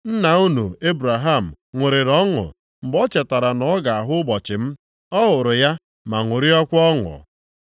Nna unu Ebraham ṅụrịrị ọṅụ mgbe o chetara na ọ ga-ahụ ụbọchị m; ọ hụrụ ya ma ṅụrịakwa ọnụ.”